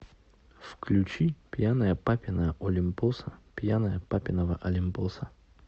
включи пьяная папина олимпоса пьяная папиного олимпоса